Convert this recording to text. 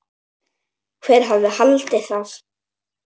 Hver hefði haldið það?